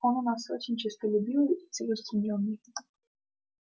он у нас очень честолюбивый и целеустремлённый